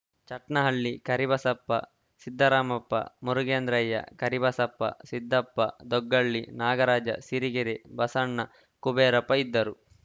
ಚಟ್ನಹಳ್ಳಿ ಕರಿಬಸಪ್ಪ ಸಿದ್ದರಾಮಪ್ಪ ಮುರುಗೇಂದ್ರಯ್ಯ ಕರಿಬಸಪ್ಪ ಸಿದ್ದಪ್ಪ ದೊಗ್ಗಳ್ಳಿ ನಾಗರಾಜ ಸಿರಿಗೆರೆ ಬಸಣ್ಣ ಕುಬೇರಪ್ಪ ಇದ್ದರು